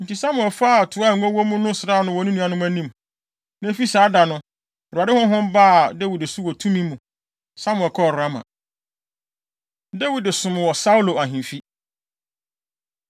Enti Samuel faa toa a ngo wɔ mu no sraa no wɔ ne nuanom anim. Na efi saa da no, Awurade honhom baa Dawid so wɔ tumi mu. Samuel kɔɔ Rama. Dawid Som Wɔ Saulo Ahemfi